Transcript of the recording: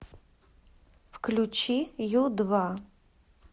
включи ю два